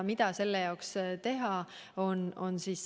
Mida selle saavutamiseks teha?